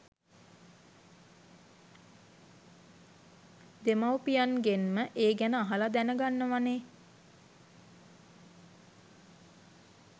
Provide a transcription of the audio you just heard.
දෙමාපියන්ගෙන්ම ඒ ගැන අහලා දැන ගන්නවානේ